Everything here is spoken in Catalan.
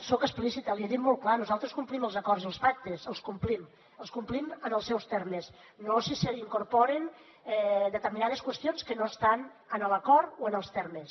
soc explicita l’hi he dit molt clar nosaltres complim els acords i els pactes els complim els complim en els seus termes no si s’hi incorporen determinades qüestions que no estan en l’acord o en els termes